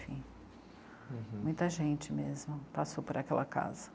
uhum. Muita gente mesmo passou por aquela casa